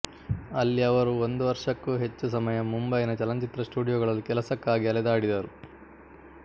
ಅಲ್ಲಿ ಅವರು ಒಂದು ವರ್ಷಕ್ಕೂ ಹೆಚ್ಚು ಸಮಯ ಮುಂಬಯಿನ ಚಲನಚಿತ್ರ ಸ್ಟುಡಿಯೋಗಳಲ್ಲಿ ಕೆಲಸಕ್ಕಾಗಿ ಅಲೆದಾಡಿದರು